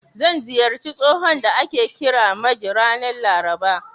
Zan ziyarci tsohon da ake kira Maje, ranar Laraba.